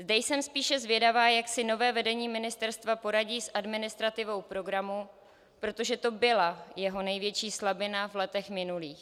Zde jsem spíše zvědavá, jak si nové vedení ministerstva poradí s administrativou programu, protože to byla jeho největší slabina v letech minulých.